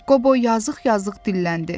Qobo yazıq-yazıq dilləndi.